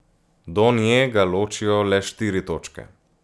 Do nje ga ločijo le štiri točke.